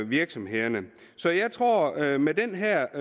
virksomhederne så jeg tror at med den her